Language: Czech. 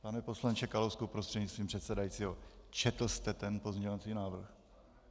Pane poslanče Kalousku prostřednictvím předsedajícího, četl jste ten pozměňovací návrh?